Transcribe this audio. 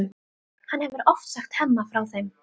Hann hefur oft sagt Hemma frá þeim.